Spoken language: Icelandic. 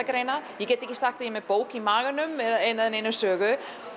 ferðagreinar ég get ekki sagt að ég sé með bók í maganum eða neina eða neina sögu